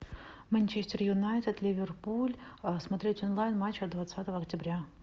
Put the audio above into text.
манчестер юнайтед ливерпуль смотреть онлайн матч от двадцатого октября